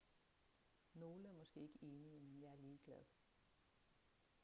nogle er måske ikke enige men jeg er ligeglad